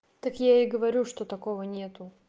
так я и говорю что такого нету